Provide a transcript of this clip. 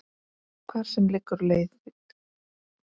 Hvar sem liggur leiðin þín.